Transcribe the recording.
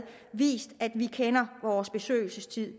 vist at vi kender vores besøgelsestid